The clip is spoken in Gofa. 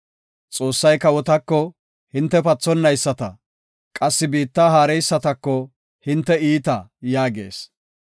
Xoossay kawotako, ‘Hinte pathonayisata’; qassi biitta haareysatako, ‘Hinte iita’ yaagees.